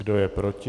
Kdo je proti?